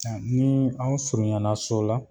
A ni aw surunyana so la